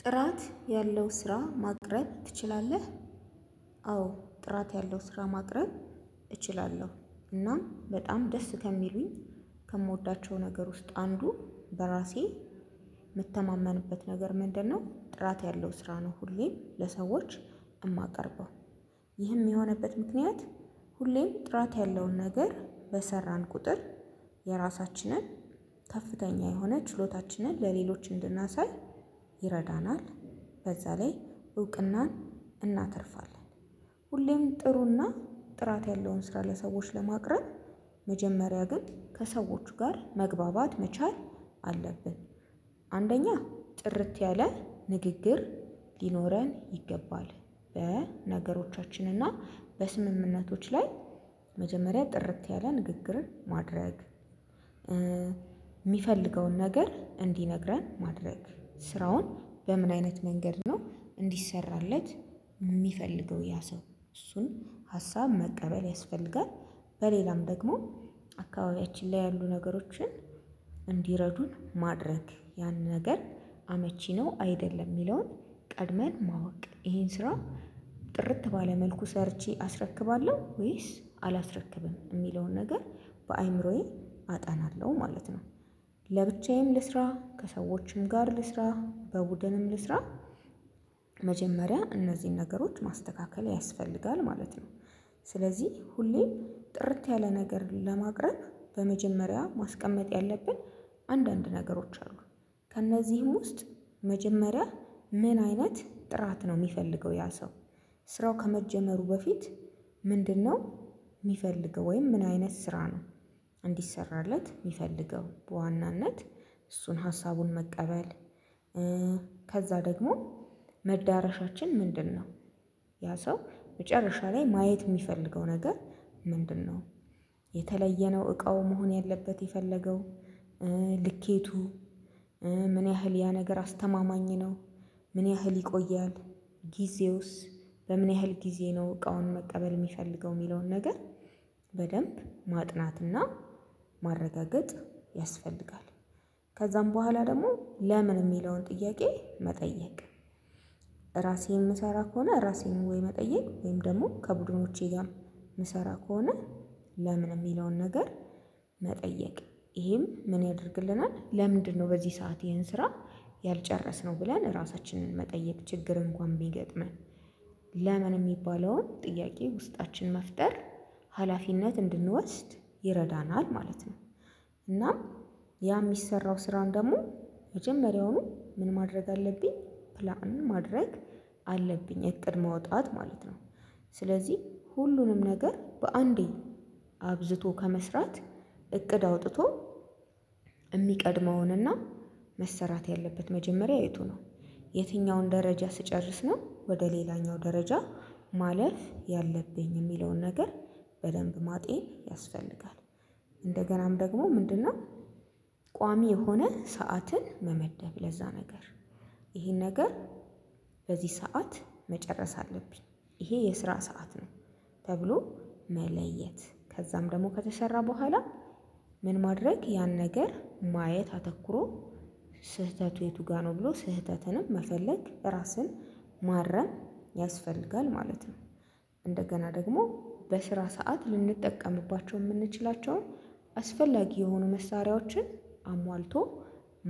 ጥራት ያለው ስራ ማቅረብ ትችላለህ? አዎ ጥራት ያለው ስራ ማቅረብ እችላለሁ። እናም በጣም ደስ ከሚሉኝ ከምወዳቸው ነገር ውስጥ አንዱ በራሴ የምተማመንበት ነገር ምንድንነው? ጥራት ያለው ስራ ነው ሁሌም ለሰዎች የማቀርበው። ይህም የሆነበት ምክንያት ሁሌም ጥራት ያለውን ነገር በሰራን ቁጥር የራሳችንን ከፍተኛ የሆነ ችሎታችንን ለሌሎች እንድናሳይ ይረዳናል። በዛ ላይ እውቅናን እናተርፋለን። ሁሌም ጥሩና ጥራት ያለውን ስራ ለሰዎች ለማቅረብ መጀመሪያ ግን ከሰዎቹ ጋር መግባባት መቻል አለብን። አንደኛ ጥርት ያለ ንግግር ሊኖረን ይገባል። በነገሮቻችን እና በስምምነቶች ላይ መጀመሪያ ጥርት ያለ ንግግር ማድረግ። የሚፈልገውን ነገር እንዲነግረን ማድረግ ስራውን በምን አይነት መንገድ ነው እንዲሠራለት የሚፈልገው ያ ሰው እሱን ሀሳብ መቀበል ያስፈልጋል። በሌላም ደግሞ አካባቢያችን ላይ ያሉ ነገሮችን እንዲረዱን ማድረግ ያንን ነገር አመቺ ነው አይደለም የሚለውን ቀድመን ማወቅ ይሄን ስራ። ጥርት ባለ መልኩ ሰርቼ አስረክባለሁ ወይስ አላስረክብም የሚለውን ነገር በአእምሮዬ አጠናለሁ ማለት ነው። ለብቻዬም ልስራ ከሰዎችም ጋር ልስራ በቡድንም ልስራ። መጀመሪያ እነዚህን ነገሮች ማስተካከል ያስፈልጋል ማለት ነው። ስለዚህ ሁሌ ጥርት ያለ ነገር ለማቅረብ በመጀመሪያ ማስቀመጥ ያለብን አንዳንድ ነገሮች ከእነዚህም ውስጥ መጀመሪያ ምን አይነት ጥራት ነው የሚፈልገው ያ ሰው? ስራው ከመጀመሩ በፊት ምንድንነው የሚፈልገው ወይም ምን አይነት ስራ ነው? እንዲሠራለት የሚፈልገው በዋናነት እሱን ሀሳቡን መቀበል። ከዛ ደግሞ መዳረሻችን ምንድንነው? ያ ሰው መጨረሻ ላይ ማየት የሚፈልገው ነገር። ምንድንነው? የተለየነው እቃው መሆን ያለበት የፈለገው ልኬቱ ምን ያህል ያ ነገር አስተማማኝ ነው። ምን ያህል ይቆያል። ጊዜውስ በምን ያህል ጊዜ ነው እቃውን መቀበል የሚፈልገው የሚለውን ነገር። በደንብ ማጥናትና ማረጋገጥ ያስፈልጋል። ከዛም በኋላ ደግሞ ለምን የሚለውን ጥያቄ መጠየቅ። ራሴ የምሰራ ከሆነ ራሴን ወይ መጠየቅ ወይም ደግሞ ከቡድኖቼ ጋር የምሰራ ከሆነ ለምን የሚለውን ነገር መጠየቅ። ይሄም ምን ያደርግልናል ለምንድንነው በዚህ ሰዓት ይሄን ስራ ያልጨረስነው ብለን ራሳችንን መጠየቅ ችግር እንኳን ቢገጥመን ለምን የሚባለውን ጥያቄ ውስጣችን መፍጠር ሀላፊነት እንድንወስድ ይረዳናል ማለት ነው። እናም ያ የሚሰራው ስራም ደግሞ መጀመሪያውኑ ምን ማድረግ አለብኝ ፕላን ማድረግ አለብኝ እቅድ ማውጣት ማለት ነው። ስለዚህ ሁሉንም ነገር በአንዴ አብዝቶ ከመስራት እቅድ አውጥቶ የሚቀድመውንና መሰራት ያለበት መጀመሪያ የቱ ነው? የትኛውን ደረጃ ስጨርስ ነው ወደ ሌላኛው ደረጃ ማለፍ ያለብኝ የሚለውን ነገር በደንብ ማጤን ያስፈልጋል። እንደገናም ደግሞ ምንድንነው? ቋሚ የሆነ ሰዓትን መመደብ ለዛ ነገር ይሄን ነገር በዚህ ሰዓት መጨረስ አለብኝ ይሄ የስራ ሰዓት ነው። ተብሎ መለየት ከዛም ደግሞ ከተሰራ በኋላ ምን ማድረግ ያን ነገር ማየት አተኩሮ። ስህተቱ የቱ ጋር ነው ብሎ ስህተትንም መፈለግ ራስን ማረም ያስፈልጋል ማለት ነው። እንደገና ደግሞ በስራ ሰዓት ልንጠቀምባቸው የምንችላቸውን አስፈላጊ የሆኑ መሳሪያዎችን አሟልቶ